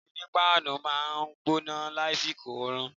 Ilé onípáánù máa ń gbóná lásìkò oòrùn